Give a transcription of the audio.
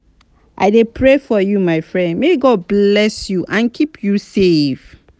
i dey pray for you my friend may god bless you and keep you safe.